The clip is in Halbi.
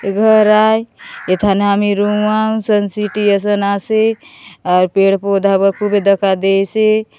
ए घर आए एठाने रूम आम सन सिटी असन आसे आर पेड़-पौधा बकुबी देखा देइसे।